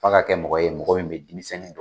F'a ka kɛ mɔgɔ ye mɔgɔ min bɛ denmisɛnnin don.